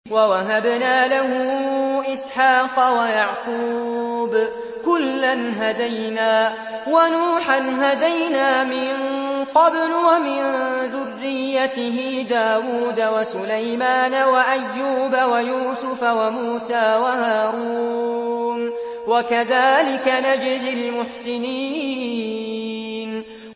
وَوَهَبْنَا لَهُ إِسْحَاقَ وَيَعْقُوبَ ۚ كُلًّا هَدَيْنَا ۚ وَنُوحًا هَدَيْنَا مِن قَبْلُ ۖ وَمِن ذُرِّيَّتِهِ دَاوُودَ وَسُلَيْمَانَ وَأَيُّوبَ وَيُوسُفَ وَمُوسَىٰ وَهَارُونَ ۚ وَكَذَٰلِكَ نَجْزِي الْمُحْسِنِينَ